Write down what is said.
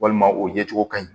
Walima o ye cogo ka ɲi